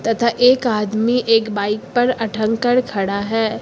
तथा एक आदमी एक बाइक पर अठंग कर खड़ा है।